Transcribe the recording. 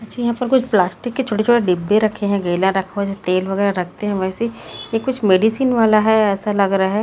अच्छे यहां पर कुछ प्लास्टिक के छोटे छोटे डिब्बे रखे हैं गैलन रखो है तेल वगैरह रखते हैं वैसी कुछ मेडिसिन वाला है ऐसा लग रहा है।